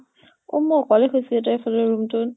অʼ মই অকলে শুই আছো দে এফালৰ room টোত ।